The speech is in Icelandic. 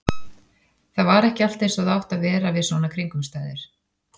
Það var ekki allt eins og það átti að vera við svona kringumstæður.